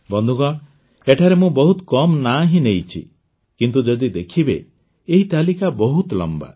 ବନ୍ଧୁଗଣ ଏଠାରେ ମୁଁ ବହୁତ କମ୍ ନାଁ ହିଁ ନେଇଛି କିନ୍ତୁ ଯଦି ଦେଖିବେ ଏହି ତାଲିକା ବହୁତ ଲମ୍ବା